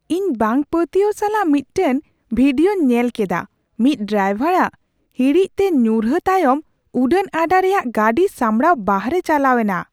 ᱤᱧ ᱵᱟᱝᱼᱯᱟᱹᱛᱭᱟᱹᱣ ᱥᱟᱞᱟᱜ ᱢᱤᱫᱴᱟᱝ ᱵᱷᱤᱰᱤᱭᱳᱧ ᱧᱮᱞ ᱠᱮᱫᱟ ᱢᱤᱫ ᱰᱟᱭᱵᱚᱨᱟᱜ ᱦᱤᱲᱤᱡᱛᱮ ᱧᱩᱨᱦᱟᱹ ᱛᱟᱭᱚᱢ ᱩᱰᱟᱹᱱ ᱟᱰᱟ ᱨᱮᱭᱟᱜᱜᱟᱹᱰᱤ ᱥᱟᱢᱲᱟᱣ ᱵᱟᱦᱨᱮ ᱪᱟᱞᱟᱣ ᱮᱱᱟ ᱾